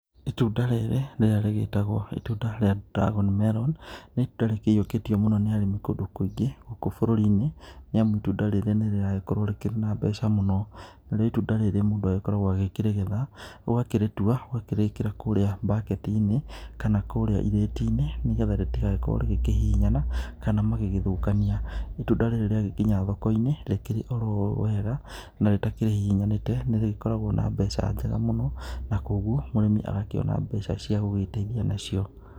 Itunda rĩrĩ rĩrĩa rĩgĩtagwo itunda rrĩa dragon melon, nĩ itunda rĩkĩiyũkĩtio mũno nĩ arĩmi kũndũ kũingĩ gũkũ bũrũri-inĩ. Nĩ amu itunda rĩrĩ nĩ rĩragĩkorwo rĩkĩrĩ na mbeca mũno. Narĩo itunda rĩrĩ mũndũ agĩkoragwo akĩrĩgetha ũgakĩrĩtua ũgakĩrĩkĩra kũrĩa bucketi -inĩ kana kũrĩa irĩti-inĩ nĩ getha rĩtigagĩkorwo rigĩkĩhihinyana kana magĩgĩthũkania. Itunda rĩrĩ rĩagĩkinya thoko-inĩ rĩkĩrĩ oo ũũ wega na rĩtakĩhihinyanĩte nĩ rĩgĩkoragwo na mbeca njega mũno, na koguo mũrĩmi agakĩona mbeca cia gũgĩteithia nacio.